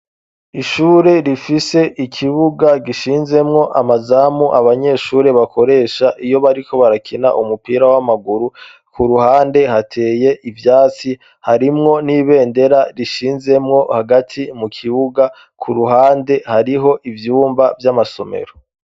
ishure rifise ikibuga gishinzemwo amazamu abanyeshuri bakoresha iyo bariko barakina umupira w'amaguru ku ruhande hateye ivyatsi harimwo n'ibendera rishinzemwo hagati mu kibuga ku ruhande hariho ivyumba vy'amasomero.